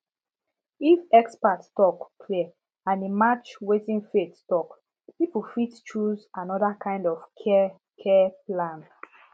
if expert talk clear and e match wetin faith talk people fit choose another kind of care care plan